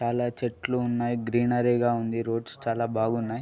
చాలా చెట్లు ఉన్నాయి. గ్రీనరీ గా ఉంది. రోడ్స్ చాలా బాగున్నాయి.